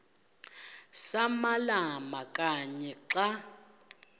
samalama kanye xa